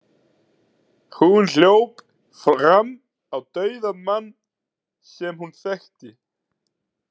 Hún hljóp fram á dauðan mann sem hún þekkti.